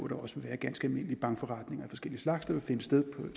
det også vil være ganske almindelige bankforretninger af forskellig slags der vil finde sted